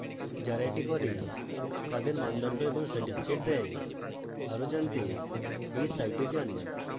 যারা এটি করে তাদের মানদণ্ড এবং certificates দেই